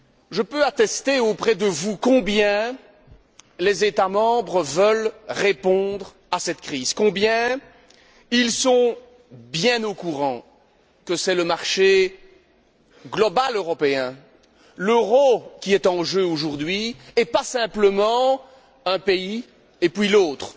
Je peux attester auprès de vous combien les États membres veulent répondre à cette crise, combien ils sont conscients que c'est le marché global européen, l'euro, qui sont en jeu aujourd'hui, et pas simplement un pays et puis l'autre.